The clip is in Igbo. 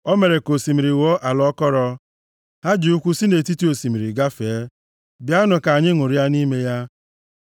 O mere ka osimiri ghọọ ala akọrọ, + 66:6 \+xt Ọpụ 14:22\+xt* ha ji ụkwụ si nʼetiti osimiri gafee + 66:6 \+xt Jos 3:14-16\+xt*; bịanụ ka anyị ṅụrịa nʼime ya.